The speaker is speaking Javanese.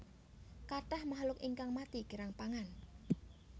Kathah makhluk ingkang mati kirang pangan